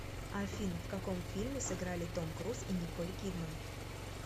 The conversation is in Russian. афина в каком фильме сыграли том круз и николь кидман